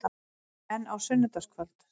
En á sunnudagskvöld?